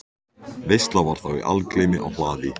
Veisla var þá í algleymi á hlaði.